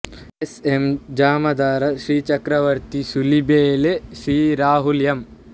S M Jamadar Shri Chakravarti Sulibele Shri Rahul M